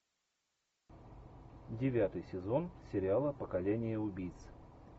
девятый сезон сериала поколение убийц